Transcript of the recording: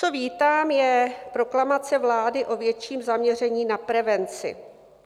Co vítám, je proklamace vlády o větším zaměření na prevenci.